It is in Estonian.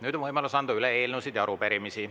Nüüd on võimalus anda üle eelnõusid ja arupärimisi.